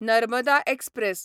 Narmada express